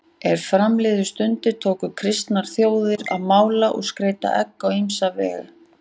Er fram liðu stundir tóku kristnar þjóðir að mála og skreyta egg á ýmsan veg.